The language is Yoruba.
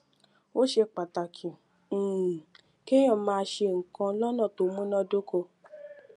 ó ṣe pàtàkì um kéèyàn máa ṣe nǹkan lónà tó múnádóko